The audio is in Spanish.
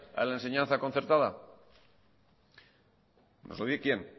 la enseñanza concertada nos lo dice quien